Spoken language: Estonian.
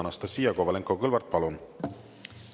Anastassia Kovalenko-Kõlvart, palun!